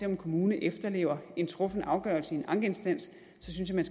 en kommune efterlever en truffen afgørelse i en ankeinstans synes jeg